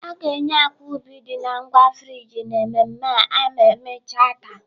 A ga-enye akwa ubi dị na ngwa frijị n'ememme a ma emechaa taa.